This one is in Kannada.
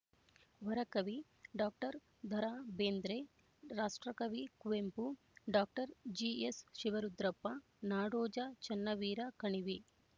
ವರಕವಿ ಡಾಕ್ಟರ್ ದರಾ ಬೇಂದ್ರೆ ರಾಷ್ಟ್ರಕವಿ ಕುವೆಂಪು ಡಾಕ್ಟರ್ ಜಿಎಸ್ ಶಿವರುದ್ರಪ್ಪ ನಾಡೋಜ ಚನ್ನವೀರ ಕಣವಿ